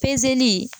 Pezeli